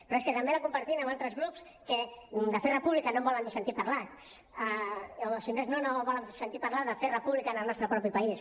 però és que també la compartim amb altres grups que de fer república no en volen ni sentir a parlar o si més no en volen sentir a parlar de fer república en el nostre propi país